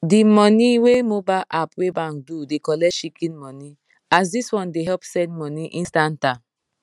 di money wey mobile app wey bank do dey collect shikin money as dis one dey help send money instanta